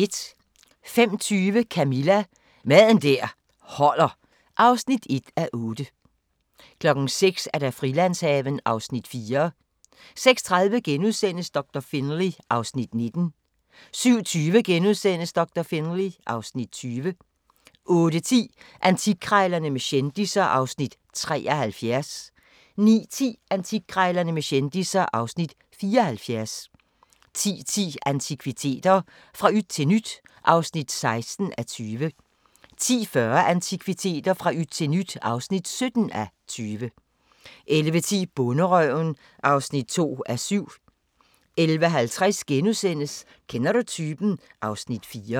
05:20: Camilla – Mad der holder (1:8) 06:00: Frilandshaven (Afs. 4) 06:30: Doktor Finlay (Afs. 19)* 07:20: Doktor Finlay (Afs. 20)* 08:10: Antikkrejlerne med kendisser (Afs. 73) 09:10: Antikkrejlerne med kendisser (Afs. 74) 10:10: Antikviteter – fra yt til nyt (16:20) 10:40: Antikviteter – fra yt til nyt (17:20) 11:10: Bonderøven (2:7) 11:50: Kender du typen? (Afs. 4)*